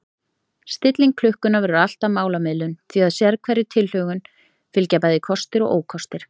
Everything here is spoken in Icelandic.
Stilling klukkunnar verður alltaf málamiðlun því að sérhverri tilhögun fylgja bæði kostir og ókostir.